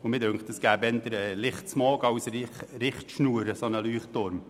Mir scheint, dass es durch diese Leuchttürme eher Lichtsmog gibt als eine Richtschnur.